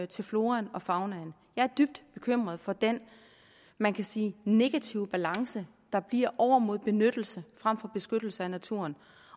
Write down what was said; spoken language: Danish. til floraen og faunaen jeg er dybt bekymret for den man kan sige negative balance der bliver over mod benyttelse frem for beskyttelse af naturen